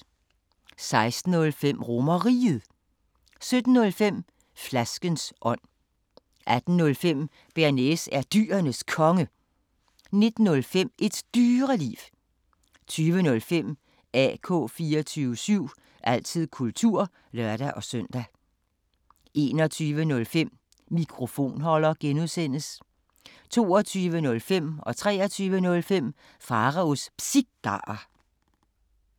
16:05: RomerRiget 17:05: Flaskens ånd 18:05: Bearnaise er Dyrenes Konge 19:05: Et Dyreliv 20:05: AK 24syv – altid kultur (lør-søn) 21:05: Mikrofonholder (G) 22:05: Pharaos Cigarer 23:05: Pharaos Cigarer